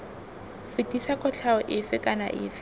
fetisa kotlhao efe kana efe